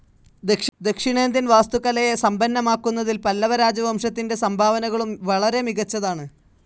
ദക്ഷിണേന്ത്യൻ വാസ്തുകലയെ സമ്പന്നമാക്കുന്നതിൽ പല്ലവരാജവംശത്തിൻ്റെ സംഭാവനകളും വളരെ മികച്ചതാണ്.